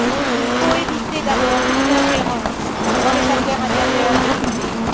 Il faut éviter d'abord toute ingérence dans les affaires intérieures de ces pays.